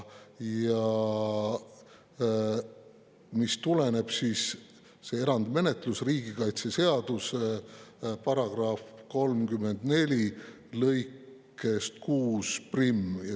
See erandmenetlus tuleneb riigikaitseseaduse § 34 lõikest 61.